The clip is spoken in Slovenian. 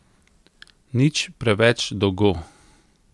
Nič preveč dolgo!